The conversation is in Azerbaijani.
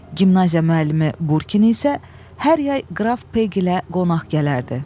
Gimnaziya müəllimi Burkin isə hər yay qraf Pegi ilə qonaq gələrdi.